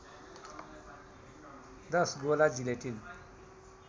१० गोला जिलेटिन